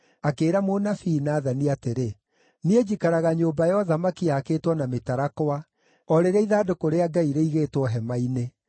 akĩĩra mũnabii Nathani atĩrĩ, “Niĩ njikaraga nyũmba ya ũthamaki yaakĩtwo na mĩtarakwa, o rĩrĩa ithandũkũ rĩa Ngai rĩigĩtwo hema-inĩ.”